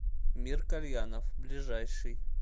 мир кальянов ближайший